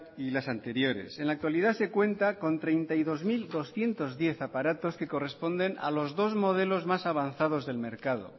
y las anteriores en la actualidad se cuenta con treinta y dos mil doscientos diez aparatos que corresponden a los dos modelos más avanzados del mercado